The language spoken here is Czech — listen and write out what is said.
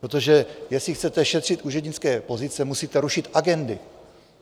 Protože jestli chcete šetřit úřednické pozice, musíte rušit agendy.